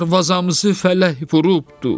Darvazamızı fələk vurubdur.